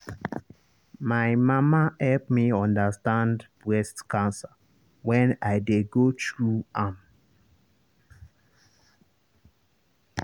my mama help me understand breast cancer when i dey go through am.